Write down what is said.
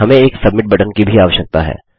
हमें एक submit button की भी आवश्यकता है